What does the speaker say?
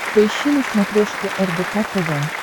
поищи на смотрешке рбк тв